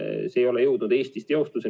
See ei ole jõudnud Eestis teostuseni.